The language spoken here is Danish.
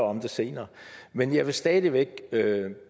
om det senere men jeg vil stadig væk